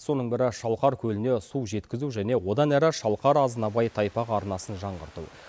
соның бірі шалқар көліне су жеткізу және одан әрі шалқар азынабай тайпақ арнасын жаңғырту